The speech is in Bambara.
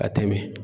A tɛ min